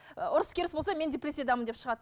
ұрыс керіс болса мен депрессиядамын деп шығады